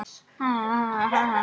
Missti ekki af neinu.